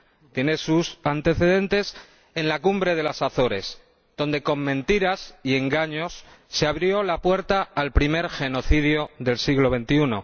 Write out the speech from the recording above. Tiene sus antecedentes en la Cumbre de las Azores, donde, con mentiras y engaños, se abrió la puerta al primer genocidio del siglo XXI.